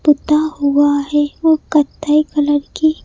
पुता हुआ है वो कथाई कलर की--